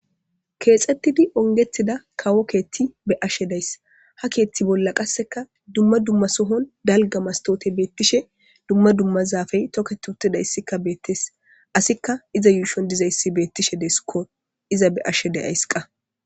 Keexettidi ongethida kawo keethti be ashshe days ha keethti bolla qasseka dumma dumma sohon dalga mastote beettishe dumma dummazaafey toketutidayssikka beettes asikka iza yuushon dizayssi beettishe deeskko iza be ashshe deyays qa.